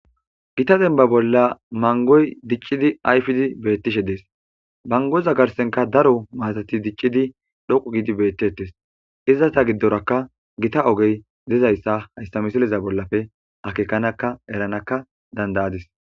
Gita denba bolla mangoy diccidi ayfidi beettishe dees mangoza garsenka daro maatati diccidi dhoqu gidi beettettes izata giddorakka gita ogey dizayssa hayssa misileza bollafe akeekanaka eranakka dandayadis.